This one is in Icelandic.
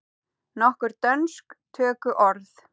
Nokkur dönsk tökuorð